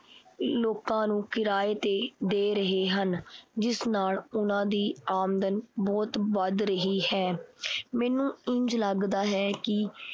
ਲੋਕਾਂ ਨੂੰ ਕਿਰਾਏ ਤੇ ਦੇ ਰਹੇ ਹਨ। ਜਿਸ ਨਾਲ ਉਹਨਾਂ ਦੀ ਆਮਦਨ ਬਹੁਤ ਵੱਧ ਰਹੀ ਹੈ। ਮੈਨੂੰ ਇੰਝ ਲੱਗਦਾ ਹੈ ਕੀ